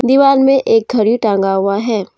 दीवाल में एक घड़ी टांगा हुआ है।